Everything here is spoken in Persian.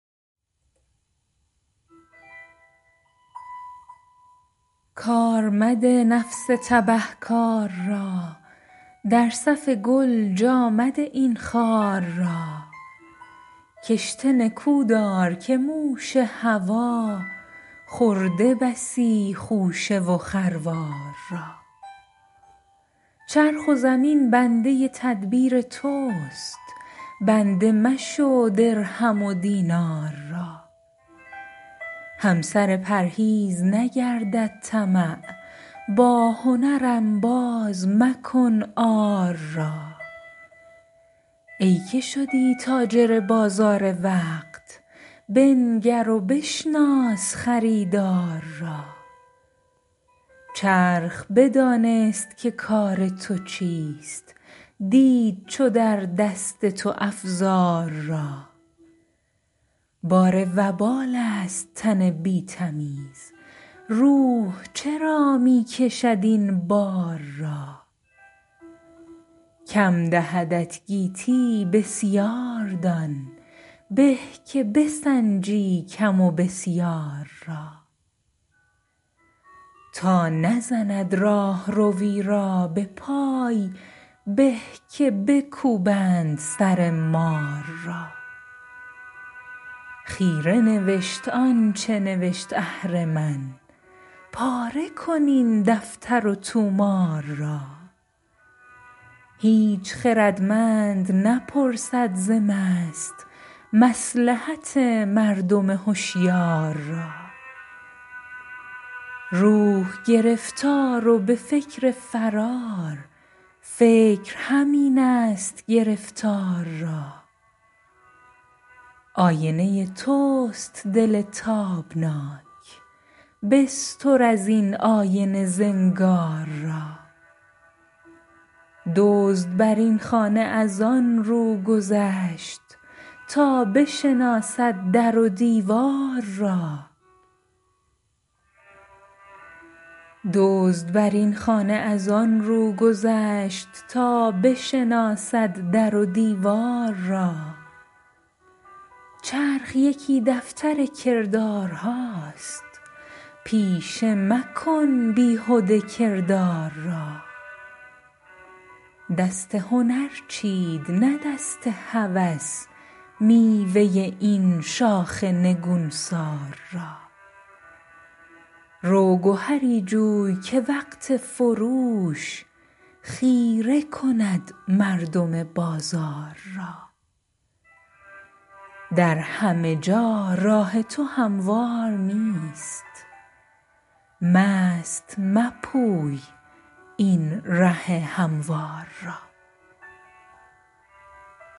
کار مده نفس تبه کار را در صف گل جا مده این خار را کشته نکودار که موش هوی خورده بسی خوشه و خروار را چرخ و زمین بنده تدبیر تست بنده مشو درهم و دینار را همسر پرهیز نگردد طمع با هنر انباز مکن عار را ای که شدی تاجر بازار وقت بنگر و بشناس خریدار را چرخ بدانست که کار تو چیست دید چو در دست تو افزار را بار وبال است تن بی تمیز روح چرا می کشد این بار را کم دهدت گیتی بسیاردان به که بسنجی کم و بسیار را تا نزند راهروی را بپای به که بکوبند سر مار را خیره نوشت آنچه نوشت اهرمن پاره کن این دفتر و طومار را هیچ خردمند نپرسد ز مست مصلحت مردم هشیار را روح گرفتار و بفکر فرار فکر همین است گرفتار را آینه تست دل تابناک بستر از این آینه زنگار را دزد بر این خانه از آنرو گذشت تا بشناسد در و دیوار را چرخ یکی دفتر کردارهاست پیشه مکن بیهده کردار را دست هنر چید نه دست هوس میوه این شاخ نگونسار را رو گهری جوی که وقت فروش خیره کند مردم بازار را در همه جا راه تو هموار نیست مست مپوی این ره هموار را